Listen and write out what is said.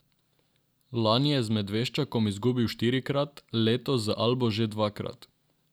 Lani je z Medveščakom izgubil štirikrat, letos z Albo že dvakrat.